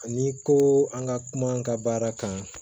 Ani ko an ka kuma an ka baara kan